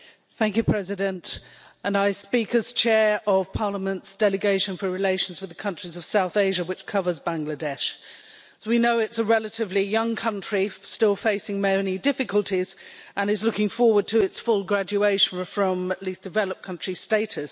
Mr President, I speak as the Chair of Parliament's Delegation for relations with the countries of South Asia, which covers Bangladesh. As we know, it's a relatively young country still facing many difficulties and is looking forward to its full graduation from least developed country' status.